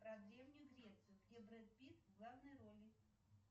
про древнюю грецию где брэд питт в главной роли